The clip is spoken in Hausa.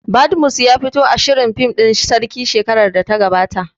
Badmus ya fito a shirin fim ɗin sarki shekarar da ta gabata